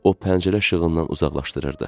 O pəncərə işığından uzaqlaşdırırdı.